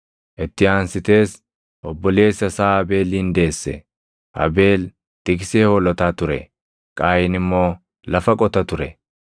Itti aansitees obboleessa isaa Abeelin deesse. Abeel tiksee hoolotaa ture; Qaayin immoo lafa qota ture.